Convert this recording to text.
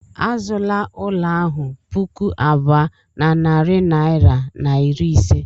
Azụla ụlọ ahụ puku abụọ na narị naira na iri ise.